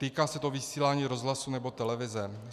Týká se to vysílání rozhlasu nebo televize.